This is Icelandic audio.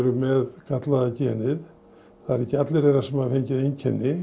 með gallaða genið ekki allir þeirra sem hafa fengið einkennin